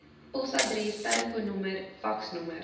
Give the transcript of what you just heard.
posadres telefoonnommer faksnommer